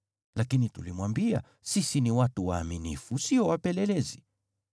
Lakini tulimwambia, ‘Sisi ni watu waaminifu, sio wapelelezi.